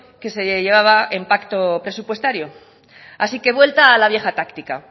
que se llevaba en pacto presupuestario así que vuelta a la vieja táctica